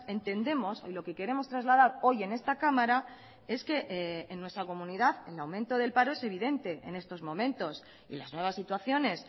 entendemos y lo que queremos trasladar hoy en esta cámara es que en nuestra comunidad el aumento del paro es evidente en estos momentos y las nuevas situaciones